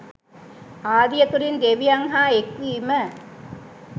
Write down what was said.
ආදිය තුළින් දෙවියන් හා එක්වීම